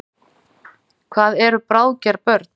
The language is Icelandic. Hvað eru bráðger börn?